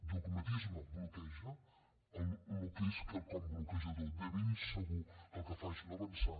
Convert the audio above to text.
dogmatisme bloqueja el que és quelcom bloquejador de ben segur que el que fa és no avançar